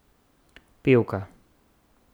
Pevka.